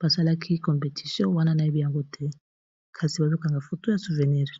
basalaki competition wana nayebi yango te kasi bazokanga foto ya souvenire